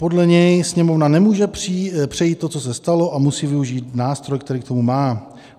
Podle něj Sněmovna nemůže přejít to, co se stalo, a musí využít nástroj, který k tomu má.